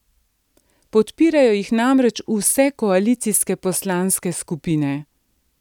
Podpirajo jih namreč vse koalicijske poslanske skupine.